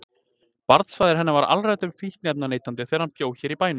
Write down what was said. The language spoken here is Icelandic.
Barnsfaðir hennar var alræmdur fíkniefnaneytandi þegar hann bjó hér í bænum.